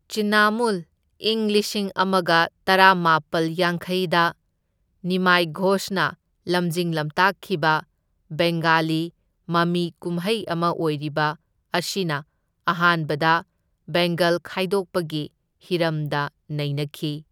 ꯆꯤꯟꯅꯃꯨꯜ ꯏꯪ ꯂꯤꯁꯤꯡ ꯑꯃꯒ ꯇꯔꯥꯃꯥꯄꯜ ꯌꯥꯡꯈꯩꯗ ꯅꯤꯃꯥꯏ ꯘꯣꯁꯅ ꯂꯝꯖꯤꯡ ꯂꯝꯇꯥꯛꯈꯤꯕ ꯕꯦꯡꯒꯥꯂꯤ ꯃꯃꯤ ꯀꯨꯝꯍꯩ ꯑꯃ ꯑꯣꯏꯔꯤꯕ ꯑꯁꯤꯅ ꯑꯍꯥꯟꯕꯗ ꯕꯦꯡꯒꯜ ꯈꯥꯏꯗꯣꯛꯄꯒꯤ ꯍꯤꯔꯝꯗ ꯅꯩꯅꯈꯤ꯫